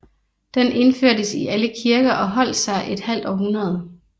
Den indførtes i alle kirker og holdt sig et halvt århundrede